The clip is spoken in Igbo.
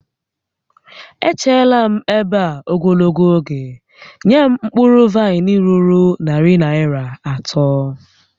E cheela m ebe a ogologo oge, nye m mkpụrụ vaịn ruru narị Naịra atọ!